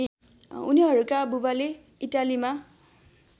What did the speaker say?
उनीहरूका बुबाले इटालीमा